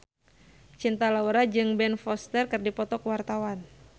Cinta Laura jeung Ben Foster keur dipoto ku wartawan